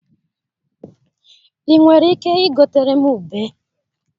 I nwere ike igotere m ube?